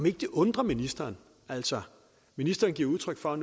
ikke undrer ministeren altså ministeren giver udtryk for